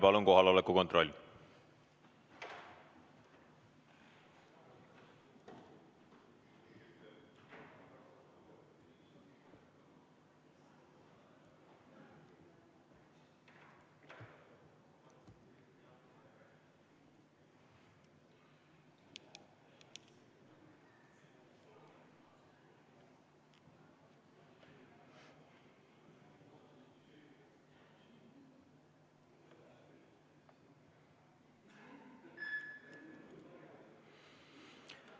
Palun kohaloleku kontroll!